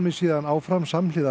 síðan áfram samhliða